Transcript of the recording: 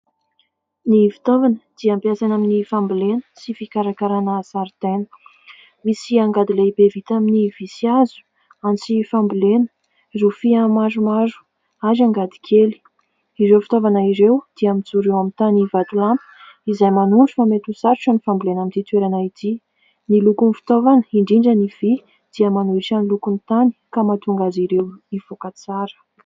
Ny fitaovana dia ampiasaina amin'ny fambolena sy fikarakarana zaridaina. Misy angady lehibe vita amin'ny vỳ sy hazo, antsy fambolena, rofia maromaro ary angady kely. Ireo fitaovana ireo dia mijoro eo amin'ny tany vatolampy izay manondro fa mety ho sarotra ny fambolena an'ity toerana ity. Ny lokon'ny fitaovana indrindra ny vỳ. dia manohitra ny lokon'ny tany ka mahatonga azy ireo mivoaka tsara.